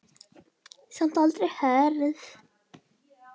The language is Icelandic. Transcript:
Samt aldrei hörð.